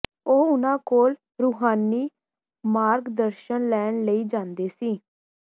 ਉਹ ਉਨ੍ਹਾਂ ਕੋਲ ਰੂਹਾਨੀ ਮਾਰਗਦਰਸ਼ਨ ਲੈਣ ਲਈ ਜਾਂਦੇ ਸੀ